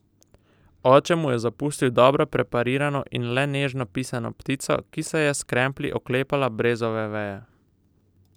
Oče mu je zapustil dobro preparirano in le nežno pisano ptico, ki se je s kremplji oklepala brezove veje.